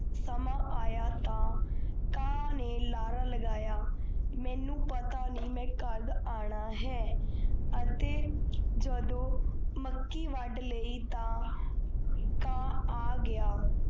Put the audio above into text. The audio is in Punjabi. ਸਮਾਂ ਆਇਆ ਤਾਂ ਕਾਂ ਨੇ ਲਾਰਾ ਲਗਾਇਆ ਮੈਨੂੰ ਪਤਾ ਨਹੀਂ ਮਈ ਕੱਦ ਆਣਾ ਹੈ ਅਤੇ ਜਦੋ ਮੱਕੀ ਵੱਡ ਲਾਇ ਤਾ ਕਾ ਆ ਗਯਾ